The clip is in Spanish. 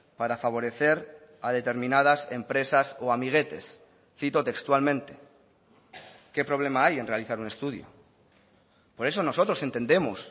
para favorecer a determinadas empresas o amiguetes cito textualmente qué problema hay en realizar un estudio por eso nosotros entendemos